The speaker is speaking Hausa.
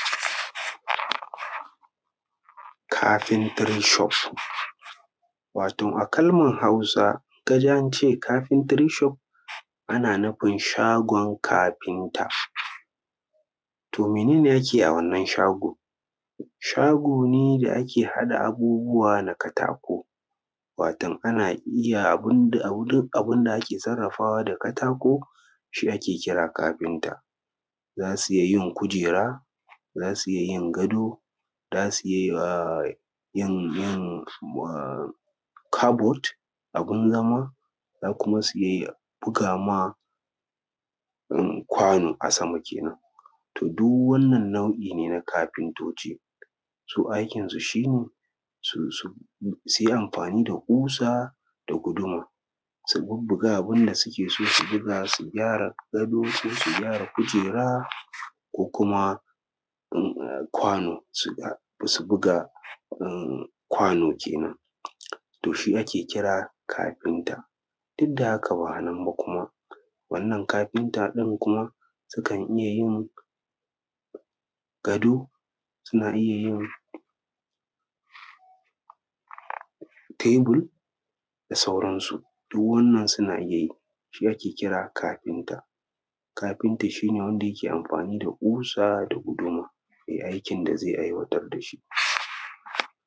carpentry shop wato a hausa idan ka ji an ce carpentry shop ana nufin shagon kafinta to mene ne ake yi a wannan shago shago ne da ake haɗa abubuwa na katako waton ana iya abin da abu duk abin da ake sarrafawa da katako shi ake kira kafinta za su iya yin kujera za su iya yin gado za su iya yin cupboard abin zama za kuma su iya buga ma kwano a sama kenan to duk wannan nau’i ne na kafintoci su aikinsu shi ne su yi amfani da ƙusa da guduma su bubbuga abin da suke so su buga su gyara gado sai su gyara kujera ko kuma kwano su buga kwano kenan to shi ake kira kafinta duk da haka ba a nan ba kuma wannan kafinta ɗin kuma sukan iya yin gado suna iya yin table da sauransu duk wannan suna iya yi shi ake kira kafinta kafinta shi ne wanda yake amfani da ƙusa da guduma ya yi aikin da zai aiwatar da shi